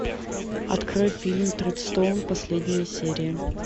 открой фильм тредстоун последняя серия